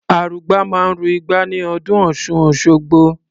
Arugbá máa ń ru igbá ní ọdún Ọ̀ṣun-Òṣogbo.